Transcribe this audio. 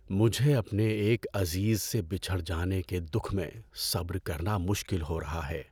مجھے اپنے ایک عزیز سے بچھڑ جانے کے دُکھ میں صبر کرنا مشکل ہو رہا ہے۔